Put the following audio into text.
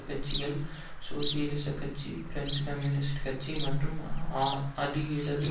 கட்சிகளில் சோசியலிசக் கட்சி பிரெஞ்சு கம்யூனிஸ்ட் கட்சி மற்றும் அதி இடது